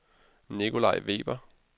Nikolaj Weber